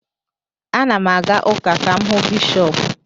Ana m aga ụka ka m hụ Bishọp